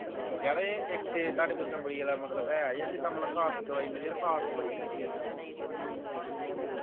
ਯਾਰ ਏ ਇਥੇ ਤੁਹਾਡੇ ਕੋਈ ਚਮੜੀ ਵਾਲਾ ਮਤਲਬ ਹੈ ਜੇ ਜਿੱਦਾਂ ਮਤਲਬ ਖਾਰਸ਼ ਦੀ ਦਵਾਈ ਮਿਲ ਜੇ ਖਾਰਸ਼ ਬੜੀ ਹੁੰਦੀ ਸਰੀਰ ਤੇ